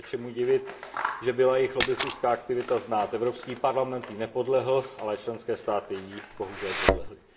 Není se čemu divit, že byla jejich lobbistická aktivita znát. Evropský parlament jí nepodlehl, ale členské státy jí bohužel podlehly.